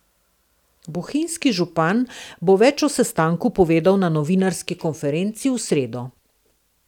Bohinjski župan bo več o sestanku povedal na novinarski konferenci v sredo.